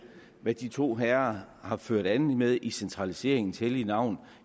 hvad de to herrer har ført an med i centraliseringens hellige navn